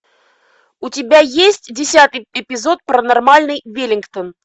у тебя есть десятый эпизод паранормальный веллингтон